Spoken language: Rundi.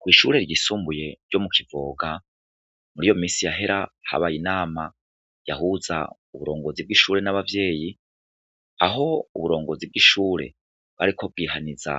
Kw'ishure ryisumbuye ryo mu kivoga muri yo misi yahera habaye inama yahuza uburongozi bw'ishure n'abavyeyi aho uburongozi bw'ishure bwariko bwihaniza